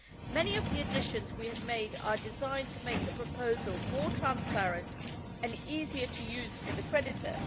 Many of the additions we have made are designed to make the proposal more transparent and easier to use for the creditor.